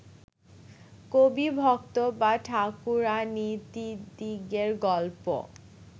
কবি, ভক্ত বা ঠাকুরাণীদিদিগের গল্প